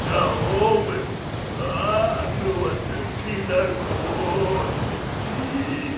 на обыск наркотики